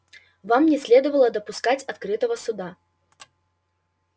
вам не следовало допускать открытого суда